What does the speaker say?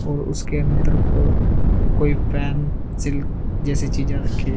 और उसके अंदर को कोई सिल्क जैसी चीजें रखी हुई हैं।